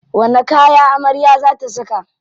Wani kaya amarya za ta saka?